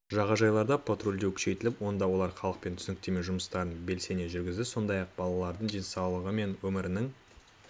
жағажайларда патрульдеу күшейтіліп онда олар халықпен түсініктеме жұмыстарын белсене жүргізеді сондай-ақ балалардың денсаулығы мен өмірінің